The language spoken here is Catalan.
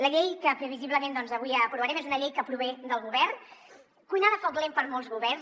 la llei que previsiblement doncs avui aprovarem és una llei que prové del govern cuinada a foc lent per molts governs